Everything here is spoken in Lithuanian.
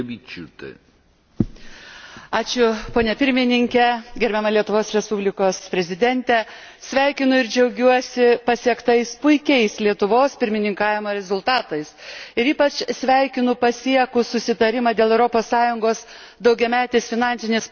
Sveikinu ir džiaugiuosi pasiektais puikiais Lietuvos pirmininkavimo rezultatais ir ypač sveikinu pasiekus susitarimą dėl Europos Sąjungos daugiametės finansinės programos, nes šis susitarimas leis užtikrinti, kad visos ES finansuojamos programos bus pradėtos